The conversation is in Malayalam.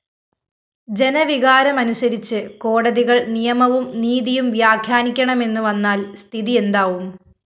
ജനവികാരമനുസരിച്ച് കോടതികള്‍ നിയമവും നീതിയും വ്യാഖ്യാനിക്കണമെന്നു വന്നാല്‍ സ്ഥിതിയെന്താവും